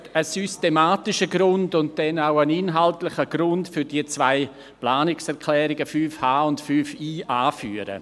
Ich möchte einen systematischen Grund und dann auch einen inhaltlichen Grund für die zwei Planungserklärungen 5.h und 5.i anführen.